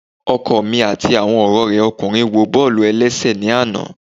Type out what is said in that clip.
Ọkọ mi ati awọn ọrẹ rẹ ọkunrin wo bọọlu ẹlẹṣẹ ni ana.